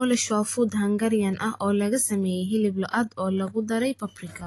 Goulash waa fuud Hungarian ah oo lagu sameeyay hilib lo'aad oo lagu daray paprika.